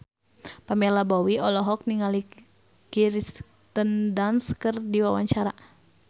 Pamela Bowie olohok ningali Kirsten Dunst keur diwawancara